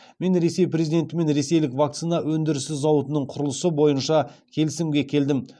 мен ресей президентімен ресейлік вакцина өндірісі зауытының құрылысы бойынша келісімге келдім